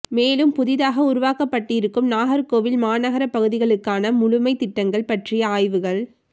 மேலும் புதிதாக உருவாக்கப்பட்டிருக்கும் நாகா்கோவில் மாநகர பகுதிகளுக்கான முழுமை திட்டங்கள் பற்றிய ஆய்வுகள்